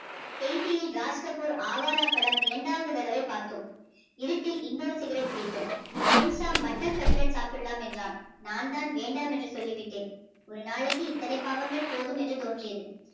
K D M Rajkapoor ஆவாரா படம் இரண்டாவது தடவை பார்த்தோம் இருட்டில் இன்னொரு சிகரட் பிடித்தோம் புதுசா மட்டன் கட்லட் சாப்பிடலாம் என்றான். நான் தான் வேண்டாம் என்று சொல்லிவிட்டேன். ஒரு நாளைக்கு இத்தனை பாவங்கள் போதும் என்று தோன்றியது.